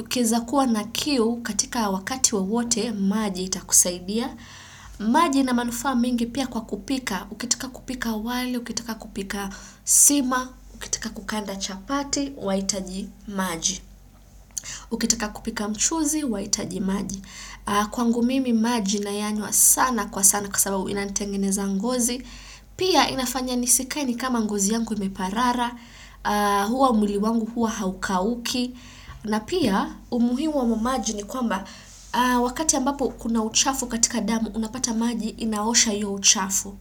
Ukizakuwa na kiu katika wakati wa wote, maji itakusaidia. Maji inamanufa mingi pia kwa kupika. Ukitika kupika wali, ukitika kupika sima, ukitika kukanda chapati, waitaji maji. Ukitika kupika mchuzi, wa itaji maji. Kwangu mimi, maji nayanywa sana kwa sana kwa sababu inantengeneza ngozi. Pia inafanya nisikaeni kama ngozi yangu imeparara. Huwa mwili wangu huwa hauka uki. Na pia umuhimu wa mwamaji ni kwamba wakati ambapo kuna uchafu katika damu unapata maji inaosha yu uchafu.